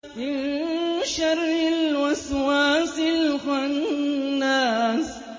مِن شَرِّ الْوَسْوَاسِ الْخَنَّاسِ